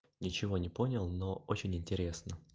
ничего не понял но очень интересно